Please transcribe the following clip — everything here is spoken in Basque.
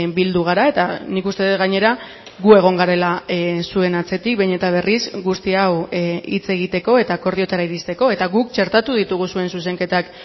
bildu gara eta nik uste dut gainera gu egon garela zuen atzetik behin eta berriz guzti hau hitz egiteko eta akordioetara iristeko eta guk txertatu ditugu zuen zuzenketak